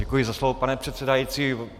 Děkuji za slovo, pane předsedající.